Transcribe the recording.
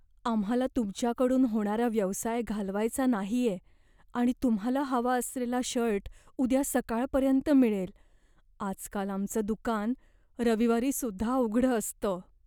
आम्हाला तुमच्याकडून होणारा व्यवसाय घालवायचा नाहीये आणि तुम्हाला हवा असलेला शर्ट उद्या सकाळपर्यंत मिळेल. आजकाल आमचं दुकान रविवारीसुद्धा उघडं असतं.